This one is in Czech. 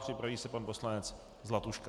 Připraví se pan poslanec Zlatuška.